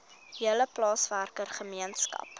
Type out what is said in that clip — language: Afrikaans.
hele plaaswerker gemeenskap